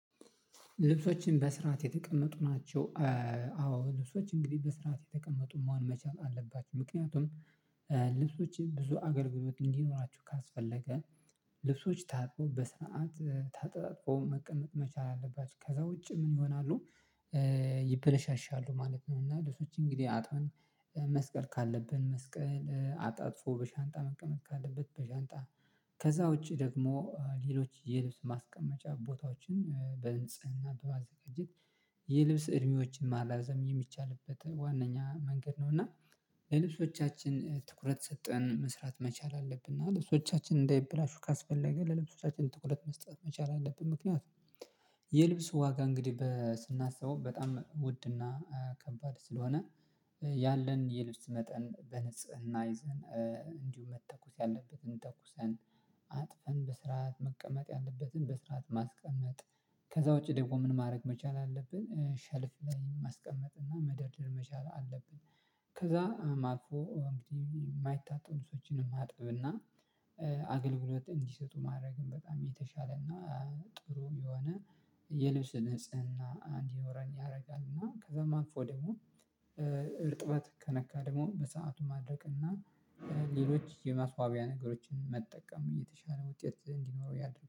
ልብሶችን በስርዓት የተቀመጡ ናቸው። አዎ ልብሶች እንግዲህ በስርዓት የተቀመጡ መሆን መቻል አለባቸው። ምክንያቱም ልብሶችን ብዙ አገልግሎት እንዲኖራችሁ ካስፈለገ ልብሶች ታጥበው በስርዓት ታጥቦ መቅመጥ መቻል አለባችሁ ከዚያ ውጪ ምን ይሆናሉ? ይበለሻሻሉ ማለት ነው። እና ልብሶች እንግዲህ አጥበን መስቀል ካለብን መስቀል አጣጥፎ በሻንጣ መቀመጥ ካለበት በሻንጣ ከዚያ ውጪ ደግሞ ሌሎች የልብስ ማስቀመጫ ቦታዎችን በንጽህና በማዘጋጀት የልብስ እድሜዎችን ማሪዘም የሚቻልበት ዋናኛ መንገድ ነው። እና ለልብሶቻችን ትኩረት ሰጥተን መስራት መቻል አለብን። እና ልብሶቻችን እንዳይበላሹ ካስፈለገ ለልብሶቻችን ትኩረት መስጠት መቻል አለብን። ምክንያት የልብስ ዋጋ እንግዲህ ስናስበው በጣም ውድና ከባድ ስለሆነ ያለን የልብስ መጠን በንጽህና ይዘን እንዲሁም መተኮስ ያለበትን ተኩሰን አጥፈን በስርዓት መቀመጥ ያለበትን በስርዓት ማስቀመጥ ከዛዚያ ውጪ ደግሞ ምን ማድረግ መቻል አለብን ሸልፍ ላይ ማስቀመጥ እና መደርደር መቻል አለብን። ከዚያ አልፎ እንግዲህ የማይታጠቡ ልብሶችን ማጠብና አገልግሎት እንዲሰጡ ማድረግም በጣም የተሻለና ጥሩ የሆነ የልብስ ንጽህና እንድኖረን ያርጋልና። ከዚያም አልፎ ደግሞ እርጥበት ከነካ ደግሞ በሰአቱ ማድረቅ እና ሌሎች የማስዋቢያ ነገሮችን መጠቀም የተሻለ ውጤት እንዲኖረው ያደርጋል